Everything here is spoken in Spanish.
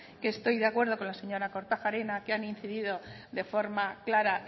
que estoy de acuerdo con la señora kortajarena que han incidido de forma clara